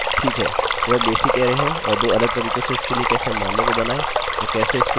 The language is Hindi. ठीक है तो चलिए अब इस पर वापस जाते हैं